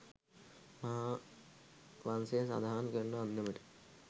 මහාවංසය සඳහන් කරන අන්දමට